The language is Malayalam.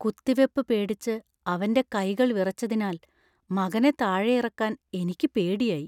കുത്തിവെപ്പ് പേടിച്ച് അവന്‍റെ കൈകൾ വിറച്ചതിനാൽ മകനെ താഴെയിറക്കാൻ എനിക്ക് പേടിയായി.